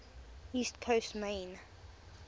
east coast maine